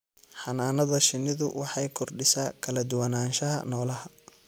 Xannaanada shinnidu waxay kordhisaa kala duwanaanshaha noolaha.